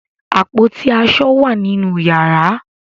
Àpótí aṣọ wà nínú yàrá.